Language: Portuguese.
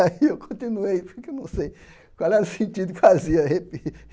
Aí eu continuei, porque eu não sei qual é o sentido que fazia